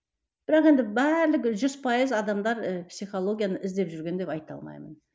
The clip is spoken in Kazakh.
бірақ енді барлық жүз пайыз адамдар ы психологияны іздеп жүрген деп айта алмаймын